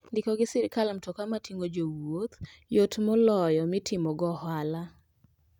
Ndiko gi sirkal mtoka mating'o jowuoth yot moloyo mtoka mitimo go ohala.